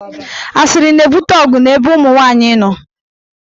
Asịrị na-ebute ọgụ n'ebe ụmụnwaanyị nọ.